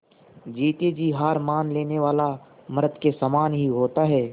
जीते जी हार मान लेने वाला मृत के ही समान होता है